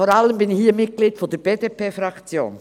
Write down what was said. Vor allem bin ich hier jedoch Mitglied der BDP-Fraktion.